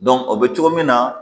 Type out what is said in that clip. o bɛ cogo min na